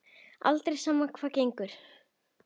Aldrei, sama hvað á gengur.